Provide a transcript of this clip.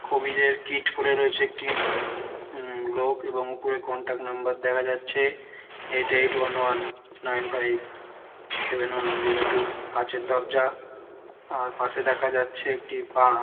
কবিড -এর কীট পরে রয়েছে একটি। হুম লোক এবং উপর কন্ট্রাক্ট নম্বর দেখা যাচ্ছে। Eight eight one one nine five seven one zero two. কাঁচের দরজা। আর পশে দেখা যাচ্ছে একটি পা--